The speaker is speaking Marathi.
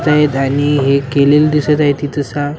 आणि केलेलं दिसत आहे ते तसा.